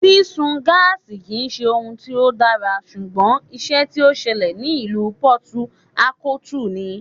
Sísun gáásì kì ń ṣe ohun tó dára, ṣùgbọ́n ìṣe tí ó ṣẹlẹ̀ ní ìlú Pọtu Ákótùù ni.